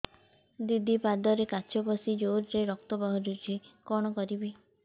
ଦିଦି ପାଦରେ କାଚ ପଶି ଜୋରରେ ରକ୍ତ ବାହାରୁଛି କଣ କରିଵି